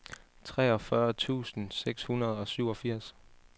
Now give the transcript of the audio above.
toogfyrre tusind seks hundrede og syvogfirs